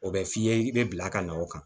O bɛ f'i ye i bɛ bila ka na o kan